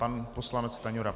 Pan poslanec Stanjura.